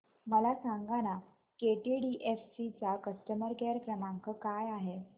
मला सांगाना केटीडीएफसी चा कस्टमर केअर क्रमांक काय आहे